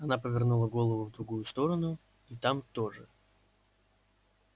она повернула голову в другую сторону и там тоже